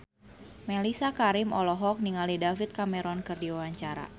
Mellisa Karim olohok ningali David Cameron keur diwawancara